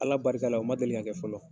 Ala barika la, o ma deli kɛ fɔlɔ.